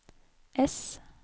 ess